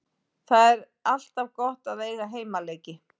Það er alltaf gott að eiga heimaleiki.